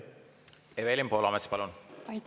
Evelin Poolamets, palun!